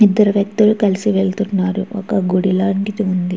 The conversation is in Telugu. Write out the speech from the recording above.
ఇద్దరు వ్యక్తులు కలిసి వెళ్తున్నారు ఒక గుడి లాంటిది ఉంది.